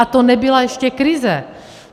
A to nebyla ještě krize.